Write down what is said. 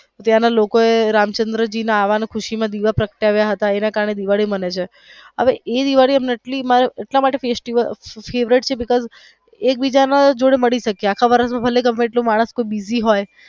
ત્યાં ના લોકો એ રામચંદ્ર ના આવા ના ખુશી માં દીવા પ્રગટાવીયા હતા એના કારણે દિવાળી મનાવે છે અને હાવે એ દિવાળી એટલી અમને favourite છે because એકબીજા ને મળી શકીયે આખા વર્ષ માં ગમે એટલા માણસ busy હોઈ.